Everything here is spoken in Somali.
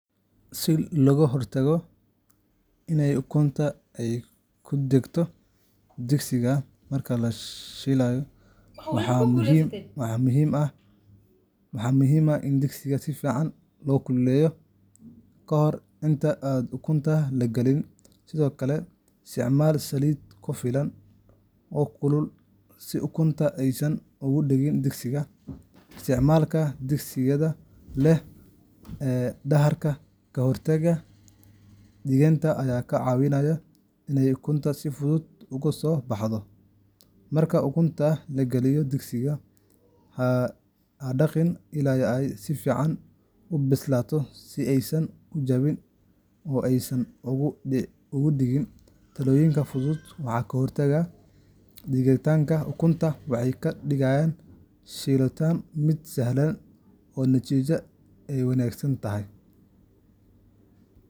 Si looga hortago in ukunta ay ku dhegto digsiga marka la shiilayo, waxaa muhiim ah in digsiga si fiican loo kululeeyo ka hor inta aan ukunta la gelin. Sidoo kale, isticmaal saliid ku filan oo kulul si ukunta aysan uga dhegin digsiga. Isticmaalka digsiyada leh dahaarka ka hortaga dhegitaanka ayaa ka caawinaya in ukunta si fudud uga soo baxdo. Marka ukunta la geliyo digsiga, ha dhaqaaqin ilaa ay si fiican u bislaato si aysan u jajabin oo aysan uga dhegin. Talooyinkan fudud waxay ka hortagaan dhegitaanka ukunta waxayna ka dhigaan shiiliddu mid sahlan oo natiijaduna ay wanaagsan tahay.